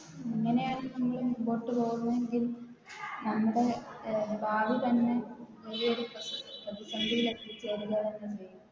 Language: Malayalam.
അങ്ങനെയാണ് നമ്മള് മുന്നോട്ട് പോകുന്നെങ്കി നമ്മുടെ ഏർ ഭാവി തന്നെ വലിയൊരു പ്രതിസന്ധിയില് എത്തിച്ചേരു